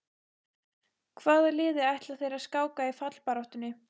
Hvaða liði ætla þeir að skáka í fallbaráttunni?